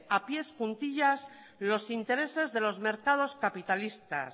a pies juntillas los intereses de los mercados capitalistas